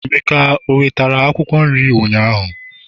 emeka o wetara Akwụkwọ nri ụnyaahụ?